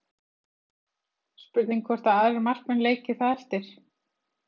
Spurning hvort að aðrir markmenn leiki það eftir?